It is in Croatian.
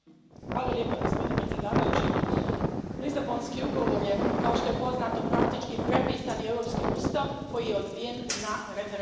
Poštovani predsjedavajući, Lisabonski ugovor je, kao što je poznato, praktički prepisani Europski ustav, koji je odbijen na referendumima.